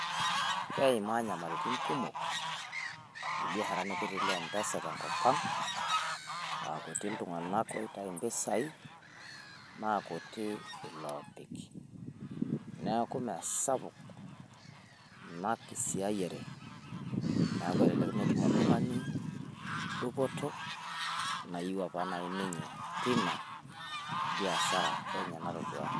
Keimaa nyamalarin kumok ilbiasharani kutitik le m-pesa tenkop ang aa kutik iltung`anak oitayu mpisai naa kutik iloopik. Niaku imesapuk ina kisiayiare niaku, elelek metum oltung`ani dupoto nayieu apa ninye teina biashara enye natodua.